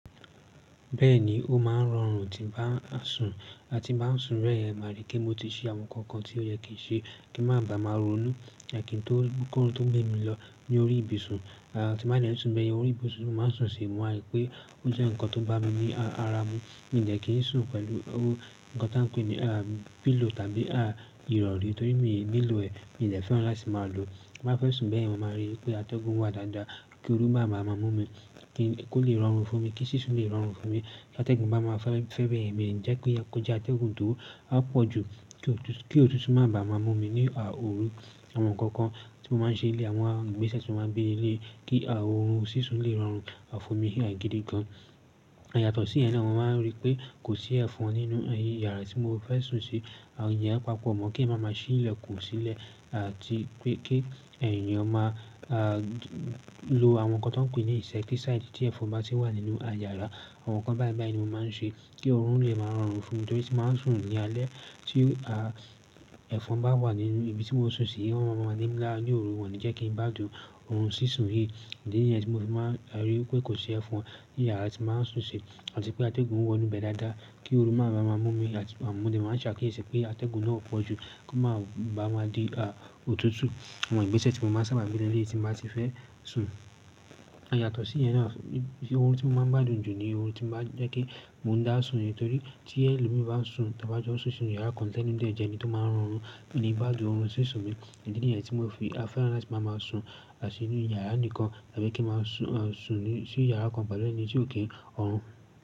Bẹ́ẹ̀ni, ó máa ń rọrùn tí ń bá sùn, à ti n bá sùn bayen ma ri pe mo ti ṣe àwọn nǹkan kan tí ó yẹ kí ń ṣe kí má bàa màá ronú, ẹhn kí ń tó, kó orun tó gbé mi lọ ní orí ibiṣun. À ti n bá dẹ̀ n sùn bẹ́ẹ̀ yẹn orí ibuṣun, ni máa ń sùn sí, mo wa ri pé, ó jẹ́ ǹkan tó bá mi ní ara mu, mi de kí ń sùn pẹ̀lú o nkan ta ń pè ní pillow tàbí ah ìrọ̀rí torí mi nílò ẹ̀, mi de fẹ́rán láti máa lò. Ti n ba fẹ́ sùn bẹ́yen, mo máa rí wipé atẹ́gùn wà dáadáa, kí ooru má màá mú mi, ko lè rọrùn fún mi, kí sísun lè rọrùn fún mi. Atẹ́gùn bá máa fẹ́ bẹ̀rẹ̀ mí jẹ́ kó jẹ́ atẹ́gùn tó á pọ̀ ju, kí òtútù má bàa màá mú mi ní òru àwọn nǹkan kan tí mo máa ń ṣe ní ilé, àwọn ìgbésẹ̀ tí mo máa ń gbé ní eléyìí kí oorun sísun lè rọrùn fún mi gidi gan. Yàtọ̀ sí ẹ̀ náà mo máa ń rí pé kò sí ẹ̀fọn nínú yàrá tí mo fẹ́ sùn sí, ìjẹ́ pàápò mọ̀ kí ẹ̀ máa máa sí ìlẹ̀kùn sílẹ̀ àti pé kí èèyàn máa á lo àwọn nǹkan tọ́n ń pè ní insecticide tí ẹ̀fọn bá ti wà nínú yàrá, àwọn nǹkan báyìí báyìí ni mo máa ń ṣe kí oorun lè máa rọrùn fún mi torí tí màá sùn ní alẹ́ tí ẹ̀fọn bá wà nínú ibi tí mo sùn sí, ó máa ń rọ̀mọ́ mi ńlá ní òru, wọ́n ní jẹ́ kí ń gbá dùn oorun sísùn yìí. Ǹdíní nìyẹn tí mo fi máa rí pé kò sí ẹ̀fọn ní yàrá tí màá sùn sí àti pé atẹ́gùn wọ inú bẹ dáadáa kí ooru má bàa màá mú mi àti àmọ̀dé, màá ṣàkíyèsí pé atẹ́gùn náà pọ̀ ju kí ó má bàa di òtútù àwọn ìgbésẹ̀ tí mo má ń sábà gbé ní eleyi tí n ba ti fẹ́ sùn. Yàtọ̀ sí yen náà, oorun tí mo máa ń gbádùn jù ni oorun tí màá jẹ́ kí mo dá sùn nítorí tí ẹlòmíràn bá sùn tà bá jọ sùn sínú yàrá kan ti ẹ̀ni oun dẹ̀ jẹ́ ẹni tí ó máa ń ọrùn mí gbádùn oorun sísun mi. Idí níyẹn tí mo fi fẹ́ràn láti máa máa sùn àti sínú yàrá nìkan tàbí kí màá sùn sí yàrá kan pẹ̀lú ẹni tí ò kí n rọrùn.